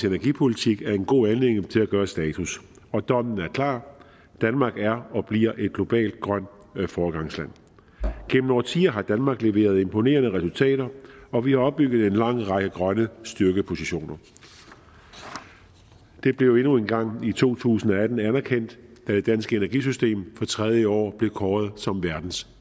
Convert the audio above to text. energipolitik er en god anledning til at gøre status og dommen er klar danmark er og bliver et globalt grønt foregangsland gennem årtier har danmark leveret imponerende resultater og vi har opbygget en lang række grønne styrkepositioner det blev endnu en gang i to tusind og atten anerkendt da det danske energisystem på tredje år blev kåret som verdens